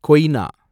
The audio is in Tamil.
கொய்னா